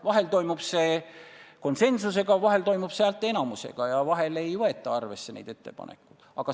Vahel toimub see konsensusega ja vahel häälteenamusega ning vahel ei võeta neid ettepanekuid üldse arvesse.